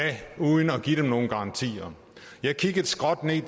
uden at give dem nogen garantier jeg kiggede skråt ned